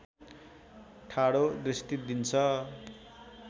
ठाडो दृष्टि दिन्छ